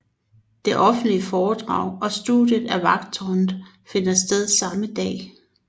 Det offentlige foredrag og studiet af Vagttårnet finder sted samme dag